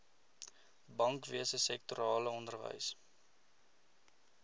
bankwese sektorale onderwys